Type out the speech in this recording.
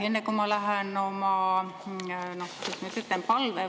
Enne kui ma lähen – kuidas ma nüüd ütlen?